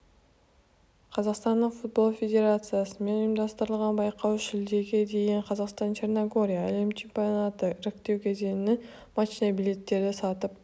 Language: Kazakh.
қазақстанның футбол федерациясымен ұйымдастырылған байқауға шілдеге дейін қазақстан-черногория әлем чемпионаты іріктеу кезеңінің матчына билеттерді сатып